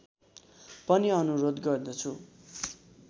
पनि अनुरोध गर्दछु